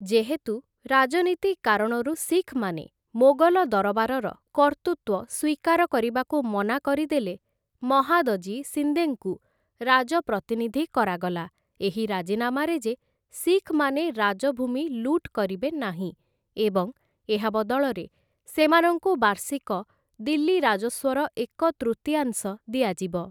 ଯେହେତୁ, ରାଜନୀତି କାରଣରୁ ଶିଖ୍‌ମାନେ ମୋଗଲ ଦରବାରର କର୍ତ୍ତୃତ୍ୱ ସ୍ୱୀକାର କରିବାକୁ ମନା କରିଦେଲେ, ମହାଦଜୀ ସିନ୍ଦେଙ୍କୁ ରାଜପ୍ରତିନିଧି କରାଗଲା ଏହି ରାଜିନାମାରେ ଯେ ଶିଖ୍‌ମାନେ ରାଜଭୂମି ଲୁଟ୍‌ କରିବେ ନାହିଁ ଏବଂ ଏହା ବଦଳରେ ସେମାନଙ୍କୁ ବାର୍ଷିକ ଦିଲ୍ଲୀ ରାଜସ୍ୱର ଏକ ତୃତୀୟାଂଶ ଦିଆଯିବ ।